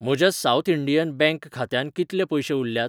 म्हज्या South Indian Bank खात्यांत कितले पयशे उरल्यात?